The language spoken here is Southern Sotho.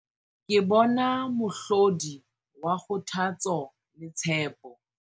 Ke bona mohlodi wa kgothatso le tshepo.